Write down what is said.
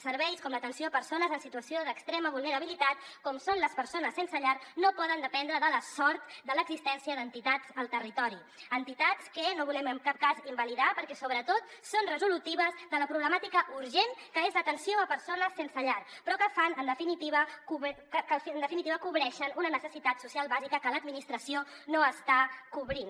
serveis com l’atenció a persones en situació d’extrema vulnerabilitat com són les persones sense llar no poden dependre de la sort de l’existència d’entitats al territori entitats que no volem en cap cas invalidar perquè sobretot són resolutives de la problemàtica urgent que és l’atenció a persones sense llar però que en definitiva cobreixen una necessitat social bàsica que l’administració no està cobrint